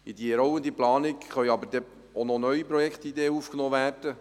In die rollende Planung können auch neue Projektideen aufgenommen werden.